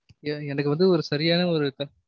எ~ எனக்கு வந்து ஒரு சரியான ஒரு த~